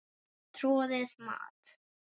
Troðið mat?